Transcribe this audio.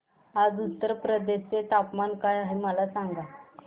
आज उत्तर प्रदेश चे तापमान काय आहे मला सांगा